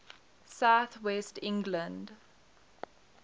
south west england